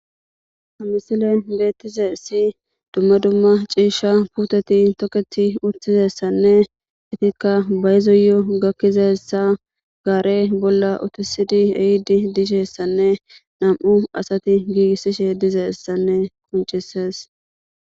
Ha missilen bettizayssi dumma dumma ciishsha puuteti tokketi uttidayssane eetika bayzoyo gakizayssa gaare bolla uttisidi ehiddi dizayssane nam'u asati giggisishe dizayssane qonccises.